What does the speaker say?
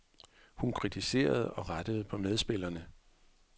Hun kritiserede og rettede på medspillerne.